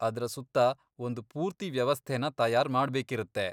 ಅದ್ರ ಸುತ್ತ ಒಂದ್ ಪೂರ್ತಿ ವ್ಯವಸ್ಥೆನ ತಯಾರ್ ಮಾಡ್ಬೇಕಿರತ್ತೆ.